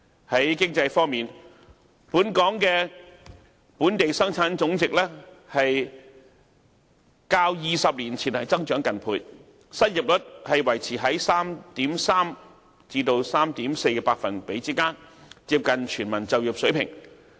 在經濟方面，香港的本地生產總值較20年前增長近倍，失業率維持在 3.3% 至 3.4% 之間，接近全民就業水平。